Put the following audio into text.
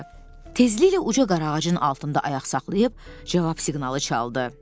Tezliklə uca qaraağacın altında ayaq saxlayıb cavab siqnalı çaldı.